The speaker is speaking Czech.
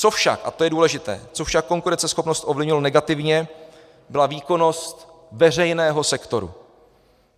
Co však, a to je důležité, co však konkurenceschopnost ovlivnilo negativně, byla výkonnost veřejného sektoru.